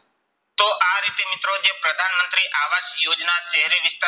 તો આ રીતે મિત્રો જે પ્રધાન મંત્રી આવાસ યોજના શહેરી વિસ્તા~